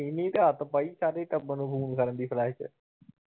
ਇਹਨੇ ਈ ਤਾਂ ਆਦਤ ਪਾਈ ਸਾਰੇ ਕੰਮ ਨੂੰ ਫੌਨ ਕਰਨ ਦੀ।